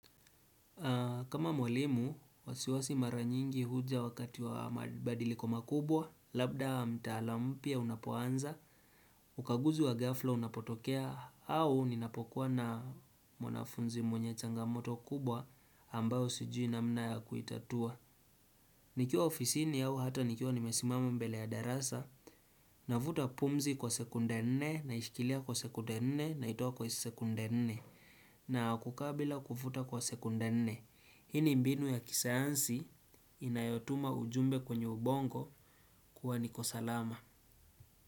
Kama mwalimu, wasiwasi mara nyingi huja wakati wa mabadiliko makubwa, labda mtaala mpya unapoanza, ukaguzi wa ghafla unapotokea au ninapokuwa na mwanafunzi mwenye changamoto kubwa ambayo sijui namna ya kuitatua. Nikiwa ofisini au hata nikiwa nimesimama mbele ya darasa na vuta pumzi kwa sekunde nne na ishikilia kwa sekunde nne naitoa kwa sekunde nne na kukaa bila kuvuta kwa sekunde nne. Hini mbinu ya kisayansi inayotuma ujumbe kwenye ubongo kuwa niko salama.